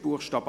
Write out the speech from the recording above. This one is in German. Buchstabe